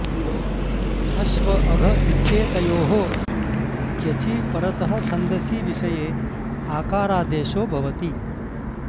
अश्व अघ इत्येतयोः क्यचि परतः छन्दसि विषये आकारादेशो भवति